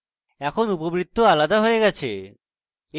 এখন উপবৃত্ত আলাদা আলাদা হয়ে গেছে